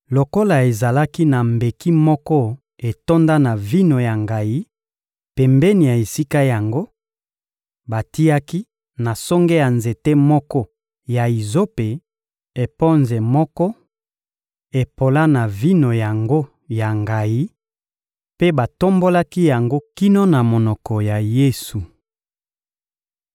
Lokola ezalaki na mbeki moko etonda na vino ya ngayi pembeni ya esika yango, batiaki, na songe ya nzete moko ya izope, eponze moko epola na vino yango ya ngayi mpe batombolaki yango kino na monoko ya Yesu.